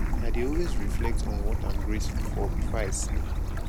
i dey always reflect on what im grateful for before i sleep